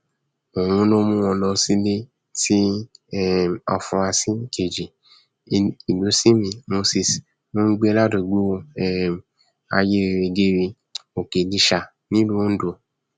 òun ló mú wọn lọ sílé tí um àfúrásì kejì ìlúsinmi moses ń gbé ládùúgbò um ayérérégère òkèlíṣà nílùú ondo